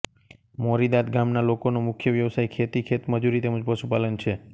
મોરીદાદ ગામના લોકોનો મુખ્ય વ્યવસાય ખેતી ખેતમજૂરી તેમ જ પશુપાલન છે